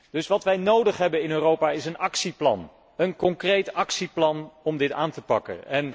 Dus wat wij nodig hebben in Europa is een actieplan, een concreet actieplan om dit aan te pakken.